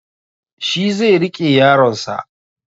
Shi zai riƙe yaronsa